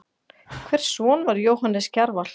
Hvers son var Jóhannes Kjarval?